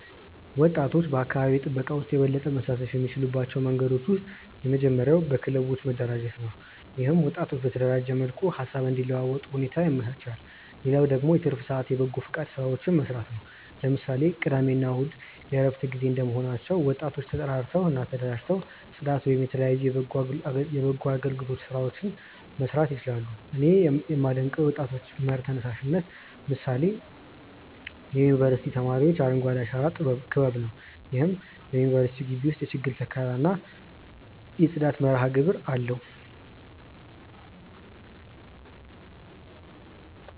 ወጣቶች በአካባቢ ጥበቃ ውስጥ የበለጠ መሳተፍ የሚችሉባቸው መንገዶች ውስጥ የመጀመሪያው በክለቦች መደራጀት ነው። ይህም ወጣቶች በተደራጀ መልኩ ሃሳብ እንዲለዋወጡ ሁኔታ ያመቻቻል። ሌላው ደግሞ የትርፍ ሰአት የበጎፈቃድ ስራዎችን መስራት ነው። ለምሳሌ ቅዳሜ እና እሁድ የእረፍት ጊዜ እንደመሆናቸው ወጣቶ ተጠራርተው እና ተደራጅተው ፅዳት ወይም የተለያዩ የበጎ አገልግሎት ስራዎችን መስራት ይችላሉ። እኔ ያመደንቀው የወጣቶች መር ተነሳሽነት ምሳሌ የዩኒቨርስቲ ተማሪዎች የአረንጓዴ አሻራ ክበብ ነው። ይህም በዩኒቨርስቲው ግቢ ውስጥ የችግኝ ተከላ እና የጽዳት መርሃግብር አለው።